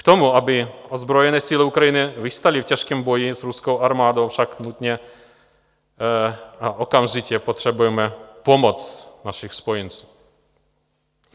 K tomu, aby ozbrojené síly Ukrajiny obstály v těžkém boji s ruskou armádou, však nutně a okamžitě potřebujeme pomoc našich spojenců.